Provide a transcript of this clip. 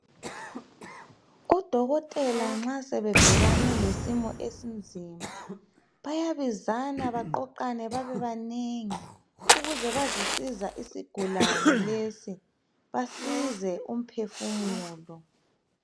odokotela nxa sebebhekane lesimo esinzima bayabizana baqoqane babebanengi ukuze bazosiza isigulane lesi basize umphefumulo